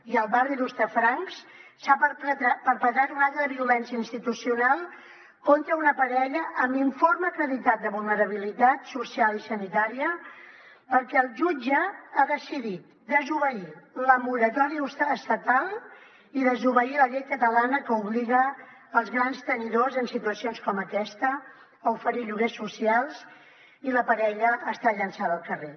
i al barri d’hostafrancs s’ha perpetrat un acte de violència institucional contra una parella amb informe acreditat de vulnerabilitat social i sanitària perquè el jutge ha decidit desobeir la moratòria estatal i desobeir la llei catalana que obliga els grans tenidors en situacions com aquesta a oferir lloguers socials i la parella està llançada al carrer